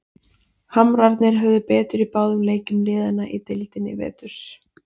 Hamrarnir höfðu betur í báðum leikjum liðanna í deildinni í vetur.